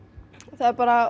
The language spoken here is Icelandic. það er bara